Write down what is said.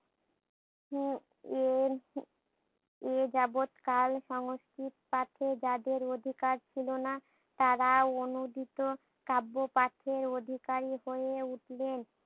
হম এর হম এ যাবৎ কাল সংস্কৃত তাকে যাদের অধিকার ছিলোনা তারা অনূদিত কাব্য পাঠের অধিকারী হয়ে উঠলেন।